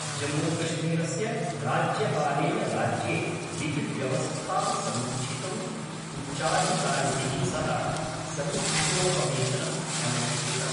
जम्मूकश्मीरस्य राज्यपालेन राज्ये विधिव्यवस्थां समीक्षितुम् उच्चाधिकारिभिः सह समीक्षोपवेशनम् अनुष्ठितम्।